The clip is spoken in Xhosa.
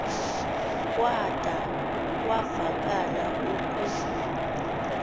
kwada kwavakala uku